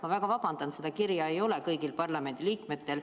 Ma väga vabandan, seda kirja ei ole kõigil parlamendiliikmetel.